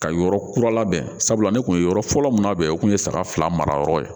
Ka yɔrɔ kura labɛn sabula ne kun ye yɔrɔ fɔlɔ min labɛn o kun ye saga fila mara yɔrɔ ye